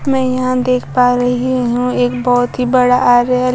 मैं यहां देख पा रही हूं एक बहोत ही बड़ा आर्यर--